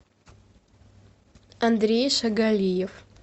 андрей шагалиев